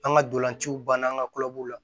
An ka dolanciw banna an ka kuvu la